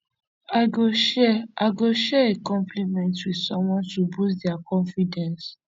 i go share a go share a compliment with someone to boost dia confidence